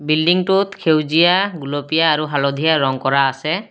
বিল্ডিংটোত সেউজীয়া গুলপীয়া আৰু হালধীয়া ৰঙ কৰা আছে।